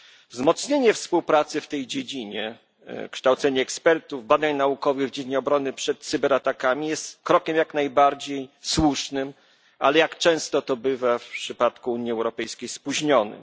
Wzmocnienie współpracy w tej dziedzinie, kształcenie ekspertów, badań naukowych w dziedzinie obrony przed cyberatakami jest krokiem jak najbardziej słusznym, ale jak często to bywa w przypadku Unii Europejskiej spóźnionym.